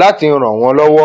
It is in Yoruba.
láti ràn wọn lọwọ